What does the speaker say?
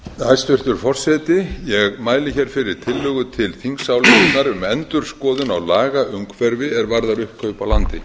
hæstvirtur forseti ég mæli fyrir tillögu til þingsályktunar um endurskoðun á lagaumhverfi er varðar uppkaup á landi